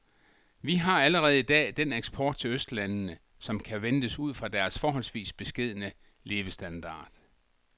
Vi har allerede i dag den eksport til østlandene, som kan ventes ud fra deres forholdsvis beskedne levestandard.